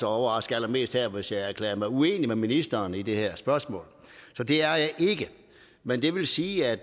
overraske allermest her hvis jeg erklærede mig uenig med ministeren i det her spørgsmål så det er jeg ikke men det vil sige at